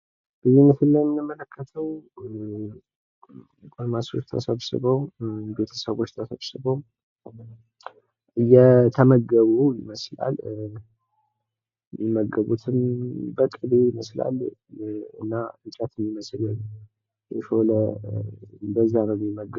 ይህ ምስል የምንመለከዉ ጎልማሶች ተሰብስበዉ ቤተሰቦች ተሰብስበዉ እየተመገቡ ይመስላል። እሚመገቡትም በቅቤ ይመስላል። እና እንጨት የሚመስል የሾለ በዚያ ነዉ የሚመገቡት